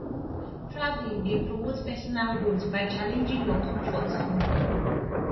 travelling dey promote personal growth by challenging your comfort zone